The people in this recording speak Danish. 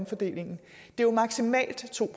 for dem